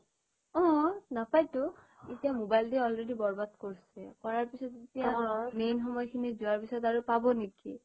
অ নাপাই টো এতিয়া মোবাইলটোই already বৰবাদ কৰিছে কৰাৰ পাছত এতিয়া main সময় খিনি যোৱাৰ পিছত আৰু পাব নেকি